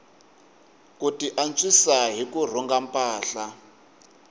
ku tiantswisa hi ku rhunga mpahla